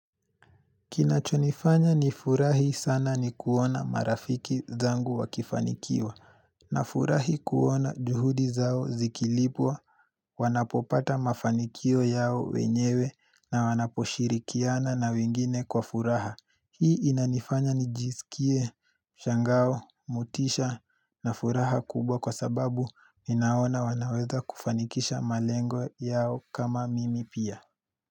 Kinachonifanya nifurahi sana ni kuona marafiki zangu wakifanikiwa. Nafurahi kuona juhudi zao zikilipwa wanapopata mafanikio yao wenyewe na wanaposhirikiana na wengine kwa furaha. Hii inanifanya nijisikie, shangao, motisha na furaha kubwa kwa sababu ninaona wanaweza kufanikisha malengo yao kama mimi pia.